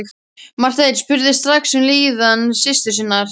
Marteinn spurði strax um líðan systur sinnar.